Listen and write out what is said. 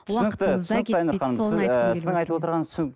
түсінікті түсінікті айнұр ханым сіз ы сіздің айтып отырғаныңыз